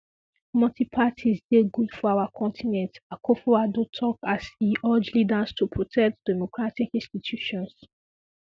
multiple parties dey good for our continent akufoaddo tok as e urge leaders to protect democratic institutions